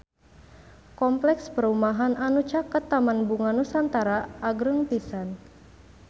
Kompleks perumahan anu caket Taman Bunga Nusantara agreng pisan